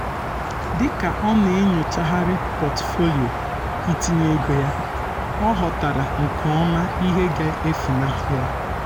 dịka ọ na-enyochagharị pọtufolio um itinye ego ya ọ ghọtara um nke ọma ihe ga-efunahu ya